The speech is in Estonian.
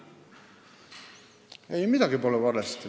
Ei, midagi pole valesti.